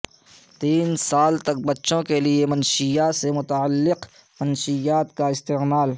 تین سال تک بچوں کے لئے منشیات سے متعلق منشیات کا استعمال